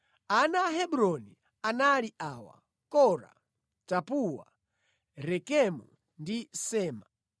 Ana a Hebroni anali awa: Kora, Tapuwa, Rekemu ndi Sema.